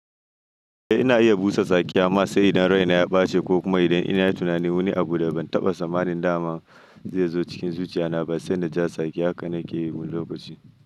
Eh ina iya busa sakiya masa idan raina ya ɓace ko kuma idan ina da tunanin wani abu da ban taɓa samanin dama zai zo cikin zuciya na ba sai da ja sakiya haka nake yi wani lokaci.